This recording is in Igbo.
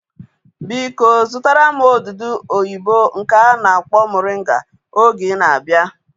Biko zụtara m odudu oyibo nke a na-akpọ moringa oge ị na-abịa